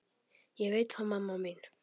Ég veit það mamma mín.